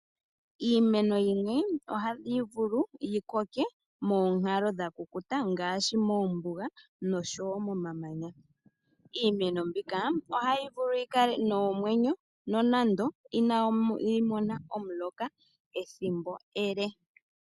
Iimeno yimwe ohayi vulu yikoke moonkalo dhakukuta ngaashi mombuga nosho wo momamanya. Iimeno mbika ohayi vulu yikale nomwenyo nonando inayi mona omuloka ethimbo ele.